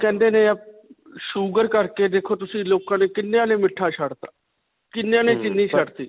ਕਹਿੰਦੇ ਨੇ sugar ਕਰਕੇ ਦੇਖੋ ਤੁਸੀਂ ਲੋਕਾਂ ਨੇ ਕਿੰਨਿਆਂ ਨੇ ਮਿੱਠਾ ਛੱਡ 'ਤਾ. ਕਿੰਨੀਆਂ ਨੇ ਚੀਨੀ ਛੱਡ 'ਤੀ.